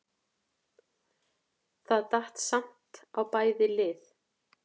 Það datt samt á bæði lið.